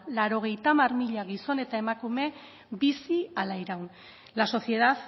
laurogeita hamar mila gizon eta emakume bizi ala iraun la sociedad